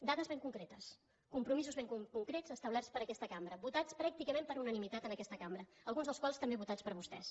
dades ben concretes compromisos ben concrets establerts per aquesta cambra votats pràcticament per unanimitat en aquesta cambra alguns dels quals també votats per vostès